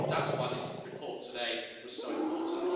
And that's why this report today was so important.